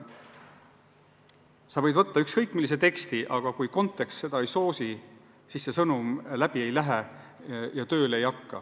Sa võid võtta ükskõik millise teksti, aga kui kontekst seda ei soosi, siis sõnum läbi ei lähe ja tööle ei hakka.